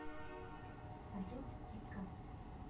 салют пика